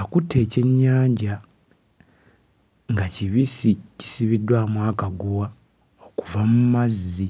Akutte ekyennyanja nga kibisi, kisibiddwamu akaguwa okuva mu mazzi.